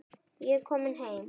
Ég er kominn heim.